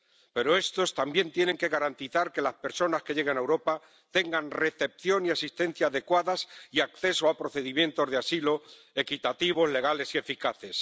Pero estos también tienen que garantizar que las personas que llegan a Europa tengan recepción y asistencia adecuadas y acceso a procedimientos de asilo equitativos, legales y eficaces.